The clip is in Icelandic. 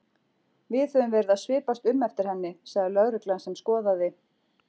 Við höfum verið að svipast um eftir henni sagði lögreglan sem skoðaði